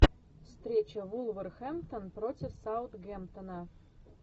встреча вулверхэмптон против саутгемптона